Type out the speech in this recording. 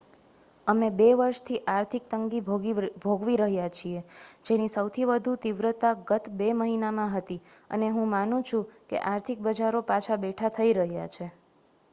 અમે બે વર્ષથી આર્થિક તંગી ભોગવી રહ્યાં છીએ જેની સૌથી વધુ તીવ્રતા ગત બે મહિનામાં હતી અને હું માનું છું કે આર્થિક બજારો પાછા બેઠાં થઈ રહ્યાં છે